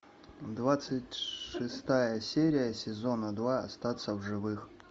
двадцать шестая серия сезона два остаться в живых